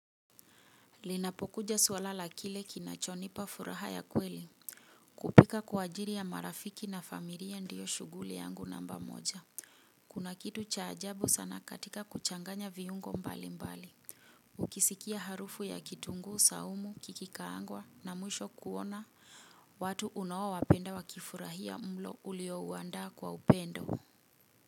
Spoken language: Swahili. Linapokuja suala la kile kinachonipa furaha ya kweli kupika kwa ajili ya marafiki na familia ndiyo shuguli yangu namba moja. Kuna kitu cha ajabu sana katika kuchanganya viungo mbali mbali. Ukisikia harufu ya kitunguu, saumu, kikikaangwa na mwisho kuona watu unaowapenda wakifurahia mlo uliouandaa kwa upendo.